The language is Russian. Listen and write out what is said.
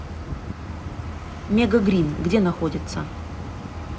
мегагринн где находится